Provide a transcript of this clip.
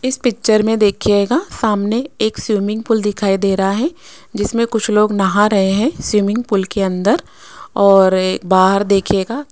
इस पिक्चर में देखियेगा सामने एक स्विमिंग पूल दिखाई दे रहा है जिसमें कुछ लोग नहा रहे हैं स्विमिंग पूल के अंदर और बाहर देखियेगा --